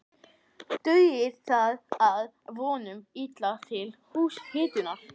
Dugir það að vonum illa til húshitunar.